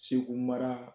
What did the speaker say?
Segu mara